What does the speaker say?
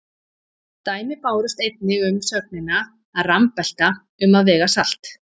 Dæmi bárust einnig um sögnina að rambelta um að vega salt.